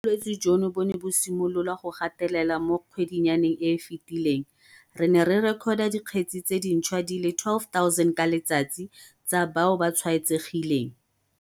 Fa bolwetse jono bo ne bo simolola go gatelela mo kgwedinyaneng e e fetileng, re ne re rekota dikgetse tse dintšhwa di le 12 000 ka letsatsi tsa bao ba tshwaetsegileng.